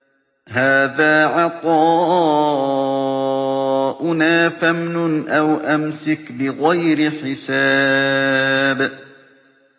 هَٰذَا عَطَاؤُنَا فَامْنُنْ أَوْ أَمْسِكْ بِغَيْرِ حِسَابٍ